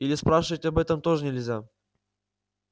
или спрашивать об этом тоже нельзя